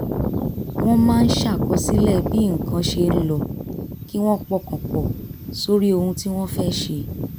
wọ́n máa ń ṣàkọsílẹ̀ bí nǹkan ṣe ń lọ kí wọ́n pọkàn pọ̀ sórí ohun tí wọ́n fẹ́ ṣe